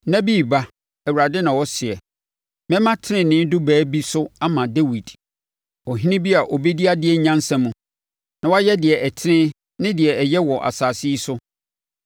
“Nna bi reba,” Awurade na ɔseɛ, “Mɛma tenenee dubaa bi so ama Dawid, ɔhene bi a ɔbɛdi adeɛ nyansa mu na wayɛ deɛ ɛtene ne deɛ ɛyɛ wɔ asase yi so.